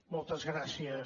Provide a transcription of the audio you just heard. moltes gràcies